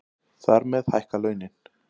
Þar með hækka launin